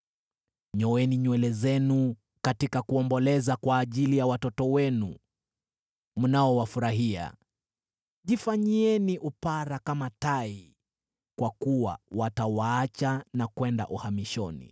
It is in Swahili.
Nyoeni nywele zenu katika kuomboleza kwa ajili ya watoto wenu mnaowafurahia; jifanyieni upara kama tai, kwa kuwa watawaacha na kwenda uhamishoni.